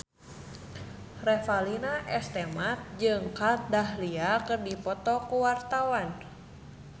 Revalina S. Temat jeung Kat Dahlia keur dipoto ku wartawan